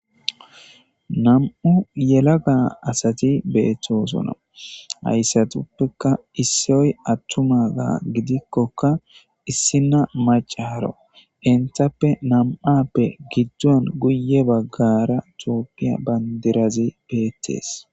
nam7u yela ga asati beettoosona hayssatuppeka issioy attuma ga gidikkokka issina macaharo intappe nam7appe giddon guye baggara tookiya bandirazi beettees